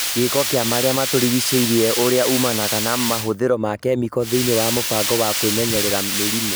Gĩĩko kĩa marĩa matũrigicĩirie ũrĩa umanaga na mahũthĩro ma kĩmĩko thĩinĩ wa mũbango wa kwĩmenyerera mĩrimũ